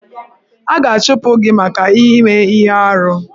A ga-achụpụ gị maka ime ihe arụ.